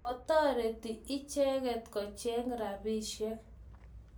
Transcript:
Kotoret icheket kocheng' rapisyek